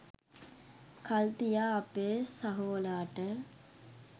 කල් තියා අපේ සහෝලාට